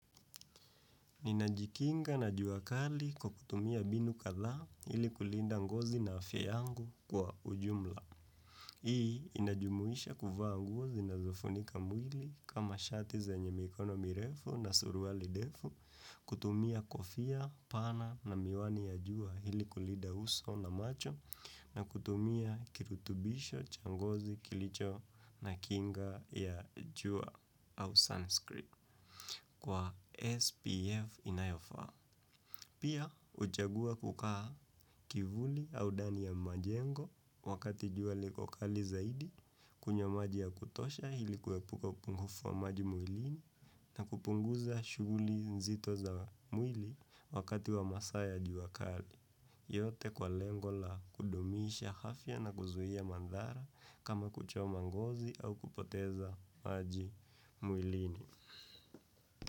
Ninajikinga na juakali kwa kutumia binu katha hili kulinda ngozi na afya yangu kwa ujumla. Hii inajumuisha kufa nguo zinazofunika mwili kama shati za nyemikono mirefu na suruwa ndefu, kutumia kofia, pana na miwani ya jua hili kulinda uso na macho na kutumia kirutubisho changozi kilicho na kinga ya jua au Sanskrit. Kwa SPF inayofa, pia uchagua kukaa kivuli au dani ya majengo wakati jua likokali zaidi, kunywa maji ya kutosha hili kuwepuka upungufu wa maji muilini na kupunguza shuguli nzito za muili wakati wa masa ya juali kukali. Yote kwa lengola kudomisha hafya na kuzuhia mandhara kama kuchoma ngozi au kupoteza maji muilini.